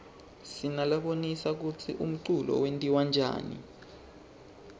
sinalabonisa kutsi umculo wentiwaryani